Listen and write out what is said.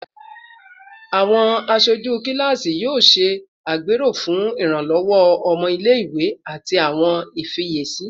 Awọn aṣoju kilasi yoo ṣe agbero fun iranlọwọ ọmọ ile-iwe ati awọn ifiyesi